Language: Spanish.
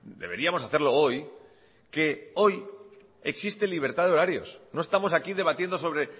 deberíamos hacerlo hoy que hoy existe libertad de horarios no estamos aquí debatiendo sobre